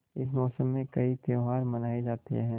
इस मौसम में कई त्यौहार मनाये जाते हैं